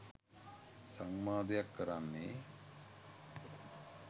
සංවාදයක් කරන්නේ